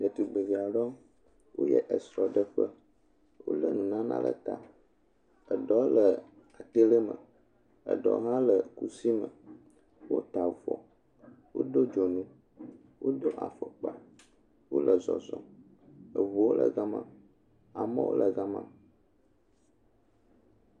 Ɖetugbevi aɖewo, woyie esrɔɖeƒe, wolé nunana le ta, eɖewo le atele me, eɖeɔ hã le kusi me, wota avɔ, wodo dzonu, wodo afɔkpa, wole zɔzɔm, eŋuwo le gama, amewo gama.